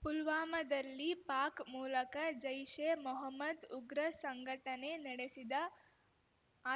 ಪುಲ್ವಾಮಾದಲ್ಲಿ ಪಾಕ್ ಮೂಲಕ ಜೈಷೆ ಮೊಹ್ಮದ್ ಉಗ್ರ ಸಂಘಟನೆ ನಡೆಸಿದ